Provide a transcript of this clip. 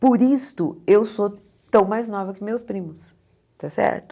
Por isto, eu sou tão mais nova que meus primos, está certo?